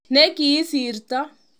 Ne kisiirto